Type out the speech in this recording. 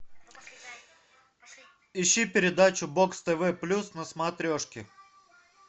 ищи передачу бокс тв плюс на смотрешке